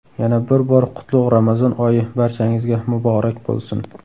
Yana bir bor qutlug‘ Ramazon oyi barchangizga muborak bo‘lsin!